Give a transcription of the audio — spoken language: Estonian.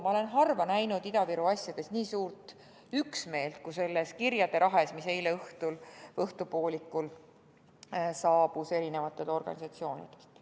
Ma olen harva näinud Ida-Viru asjades nii suurt üksmeelt kui selles kirjade rahes, mis eile õhtupoolikul erinevatelt organisatsioonidelt saabus.